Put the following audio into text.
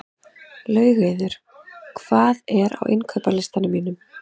Laugheiður, hvað er á innkaupalistanum mínum?